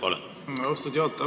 Aitäh, austatud juhataja!